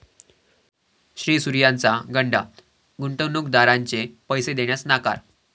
श्रीसूर्या'चा गंडा, गुंतवणूकदारांचे पैसे देण्यास नकार